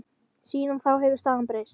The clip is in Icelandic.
Síðan þá hefur staðan breyst.